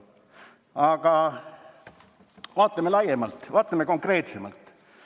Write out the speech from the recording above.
Aga vaatame laiemalt, vaatame konkreetsemalt.